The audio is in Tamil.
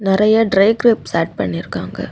நறைய ட்ரை கிரேப்ஸ் ஏட் பண்ணிருக்காங்க.